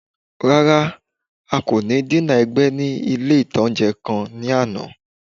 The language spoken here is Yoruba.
Rárá, a kò ní dínà ẹ̀gbẹ́ ní ilé-ìtánjẹ kan ní àná